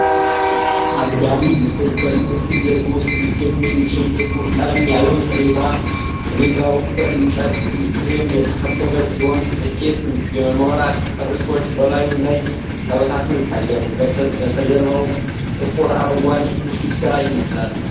አግድም ምስል በትምህርት ቤት ውስጥ ሊገኝ የሚችል፣ ጥቁር ቀለም ያለው ሰሌዳ ። ሰሌዳው በእንጨት ፍሬም የተከበበ ሲሆን፣ ጥቂት የኖራ ቅሪቶች በላዩ ላይ ተበታትነው ይታያሉ። በስተጀርባው ጥቁር አረንጓዴ ግድግዳ ይመስላል።